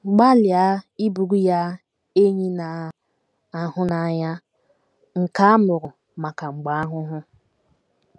Gbalịa ịbụrụ ya “ enyi na - ahụ n’anya, ” nke ‘ a mụrụ maka mgbe ahụhụ. ’